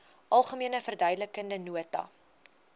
algemene verduidelikende nota